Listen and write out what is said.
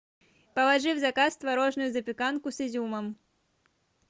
положи в заказ творожную запеканку с изюмом